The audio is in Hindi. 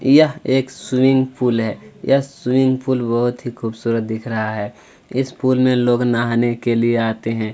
यह एक स्विमिंग पूल है यह स्विमिंग पूल बहुत ही खुबसुरत दिख रहा है इस पूल में लोग नहाने के लिए आते है।